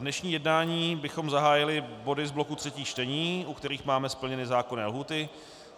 Dnešní jednání bychom zahájili body z bloku třetích čtení, u kterých máme splněny zákonné lhůty.